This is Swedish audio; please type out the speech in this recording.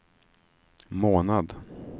månad